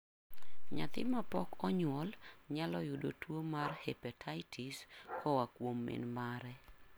Nyathi mapok onyuol nyalo yudo tuwo mar hepatitis koa kuom min mare.